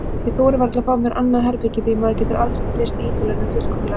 Ég þori varla að fá mér annað herbergi því maður getur aldrei treyst Ítölunum fullkomlega.